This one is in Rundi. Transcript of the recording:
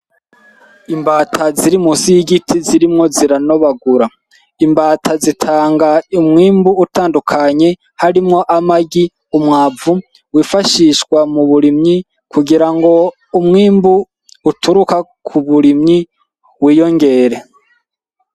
Imbata ziri musi y'igiti zirimwo ziranobagura, imbata zitanga umwimbu utandukanye, harimwo amagi, umwavu, wifashishwa mu burimyi kugira ngo umwimbu uturuka ku burimyi wiyongere.